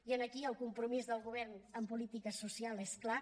i aquí el compromís del govern en política social és clar